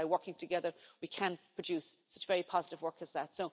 By working together, we can produce such very positive work as that.